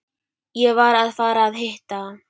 Ég var að fara að hitta